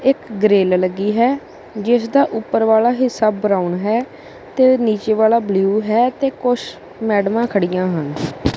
ਇੱਕ ਗ੍ਰਿਲ ਲੱਗੀ ਹੈ ਜਿੱਸਦਾ ਉਪਰ ਵਾਲਾ ਹਿੱਸਾ ਬਰਾਊਨ ਹੈ ਤੇ ਨੀਚੇ ਵਾਲਾ ਬਲੂ ਹੈ ਤੇ ਕੁੱਛ ਮੈਡਮਾਂ ਖੜੀਆਂ ਹਨ।